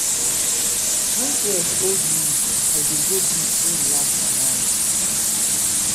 wen stress hold me hold me i dey go beach go relax my mind.